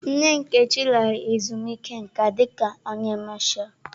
Nna Nkechi lara ezumike nka dika onye Masha.